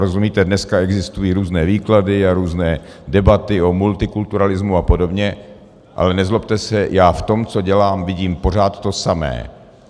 Rozumíte, dneska existují různé výklady a různé debaty o multikulturalismu a podobně, ale nezlobte se, já v tom, co dělá, vidím pořád to samé.